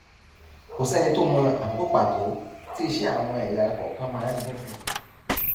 kò sẹni tó mọ àkókò pàtó tí iṣẹ àwọn ẹyà ara kọọkan má ń dínkù